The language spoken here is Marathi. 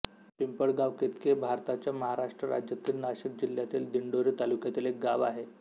पिंपळगावकेतकी हे भारताच्या महाराष्ट्र राज्यातील नाशिक जिल्ह्यातील दिंडोरी तालुक्यातील एक गाव आहे